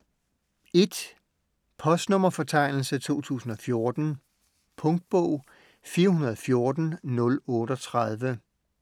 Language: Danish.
Postnummerfortegnelse 2014 Punktbog 414038